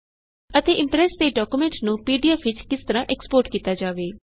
ਅਤੇ ਇਮਪ੍ਰੈਸ ਦੇ ਡਾਕਯੂਮੈਂਟ ਨੂੰ ਪੀਡੀਏਫ ਵਿਚ ਕਿਸ ਤਰਹ ਏਕਸਪੋਰਟ ਕੀਤਾ ਜਾਵੇ